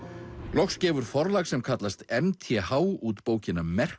loks gefur forlag sem kallast m t h út bókina merkt